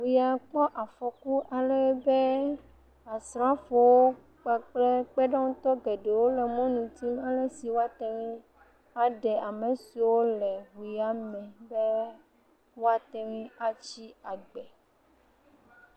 ŋu ya kpɔ afɔku alebe asrafowo kakple kpeɖeŋutɔ geɖwo le mɔnu dim alesi woate ŋui aɖe ame siwo le ŋu ya me be woate ŋui atsi agbe.